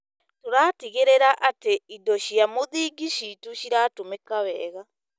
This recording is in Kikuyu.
Tũratigĩrĩra atĩ indo cia mũthingi ciitũ ciratũmĩka wega.